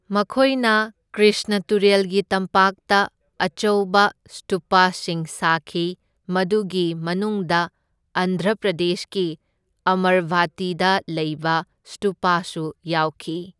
ꯃꯈꯣꯏꯅ ꯀ꯭ꯔꯤꯁꯅ ꯇꯨꯔꯦꯜꯒꯤ ꯇꯝꯄꯥꯛꯇ ꯑꯆꯧꯕ ꯁ꯭ꯇꯨꯞꯁꯤꯡ ꯁꯥꯈꯤ, ꯃꯗꯨꯒꯤ ꯃꯅꯨꯡꯗ ꯑꯟꯙ꯭ꯔ ꯄ꯭ꯔꯗꯦꯁꯀꯤ ꯑꯃꯔꯚꯇꯤꯗ ꯂꯩꯕ ꯁ꯭ꯇꯨꯄꯁꯨ ꯌꯥꯎꯈꯤ꯫